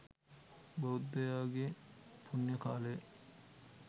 බෞද්ධයාගේ පුණ්‍යකාලය